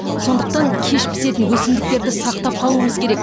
сондықтан кеш пісетін өсімдіктерді сақтап қалуымыз керек